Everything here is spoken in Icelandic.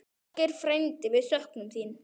Ásgeir frændi, við söknum þín.